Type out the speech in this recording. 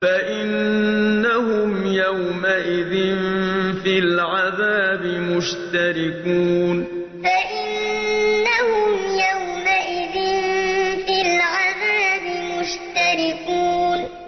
فَإِنَّهُمْ يَوْمَئِذٍ فِي الْعَذَابِ مُشْتَرِكُونَ فَإِنَّهُمْ يَوْمَئِذٍ فِي الْعَذَابِ مُشْتَرِكُونَ